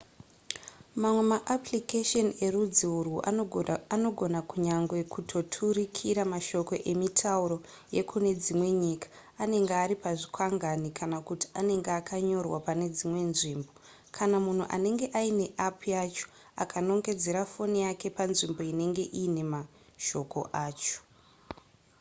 mamwe maapplication erudzi urwu anogona kunyange kutoturikira mashoko emitauro yekune dzimwe nyika anenge ari pazvikwangwani kana kuti anenge akanyorwa pane dzimwe nzvimbo kana munhu anenge aine app yacho akanongedzera foni yake panzvimbo inenge iine mashoko acho